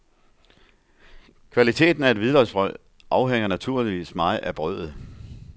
Kvaliteten af et hvidløgsbrød afhænger naturligvis meget af brødet.